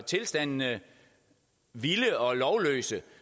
tilstandene vilde og lovløse